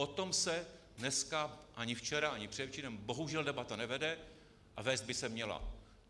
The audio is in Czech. O tom se dneska, ani včera, ani předevčírem bohužel debata nevede, a vést by se měla.